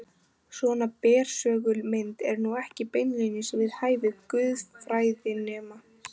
Svona bersögul mynd er nú ekki beinlínis við hæfi guðfræðinema.